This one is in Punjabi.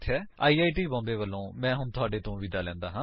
ਆਈ ਆਈ ਟੀ ਮੁਂਬਈ ਵਲੋਂ ਮੈਂ ਹੁਣ ਤੁਹਾਡੇ ਤੋਂ ਵਿਦਾ ਲੈਂਦਾ ਹਾਂ